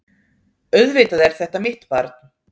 Auðvitað er þetta mitt barn